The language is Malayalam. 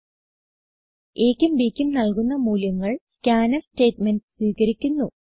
a ക്കും b ക്കും നല്കുന്ന മൂല്യങ്ങൾ സ്കാൻഫ് സ്റ്റേറ്റ്മെന്റ് സ്വീകരിക്കുന്നു